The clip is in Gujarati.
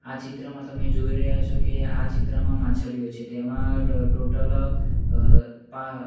આ ચિત્રમાં તમે જોઈ રહ્યા છો કે આ ચિત્રમાં માછલીઓ છે તેમાં ટ-ટોટલ અ પા--